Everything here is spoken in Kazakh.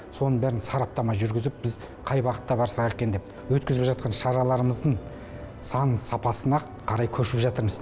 соның бәріне сараптама жүргізіп біз қай бағытта барсақ екен деп өткізіп жатқан шараларымыздың сан сапасына қарай көшіп жатырмыз